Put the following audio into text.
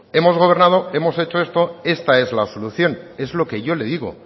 hemos gobernado hemos hecho esto esta es la solución es lo que yo le digo